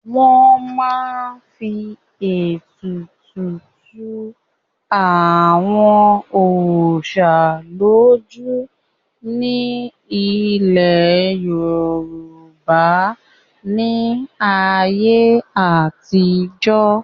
wọ́n máa ń fi ètùtù tu àwọn òsà lójú ni ní ilẹ̀ yorùbá ní ayé àtijọ́